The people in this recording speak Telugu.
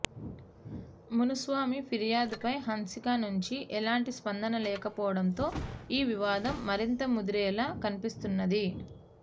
మునుస్వామి ఫిర్యాదుపై హన్సిక నుంచి ఎలాంటి స్పందన లేకపోవడంతో ఈ వివాదం మరింత ముదిరేలా కనిపిస్తున్నది